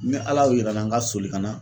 Ni Ala y'o yira na n ka soli ka na